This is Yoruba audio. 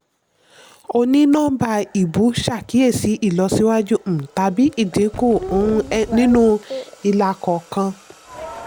onínọ́mbà ìbú ṣàkíyèsí ìlọsíwájú um tàbí ìdínkù um nínú ilà kọ̀ọ̀kan.